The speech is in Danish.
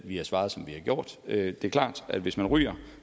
vi har svaret som vi har gjort det er klart at hvis man ryger